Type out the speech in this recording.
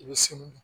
I bɛ se